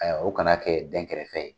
Ayiwa o kana kɛ dɛn kɛrɛfɛ